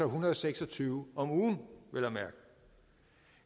hundrede og seks og tyve om ugen vel